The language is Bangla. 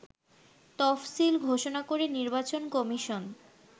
তফসিল ঘোষণা করে নির্বাচন কমিশন